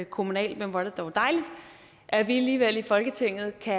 kommunalt men hvor er det dog dejligt at vi alligevel i folketinget kan